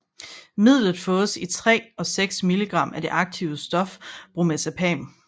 Midlet fås i 3 og 6 mg af det aktive stof Bromazepam